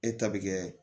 E ta bi kɛ